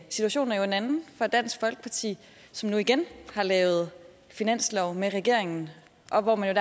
situationen er jo en anden for dansk folkeparti som nu igen har lavet finanslov med regeringen og hvor man